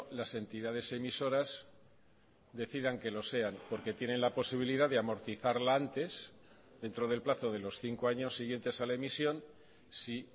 las entidades emisoras decidan que lo sean porque tienen la posibilidad de amortizarla antes dentro del plazo de los cinco años siguientes a la emisión si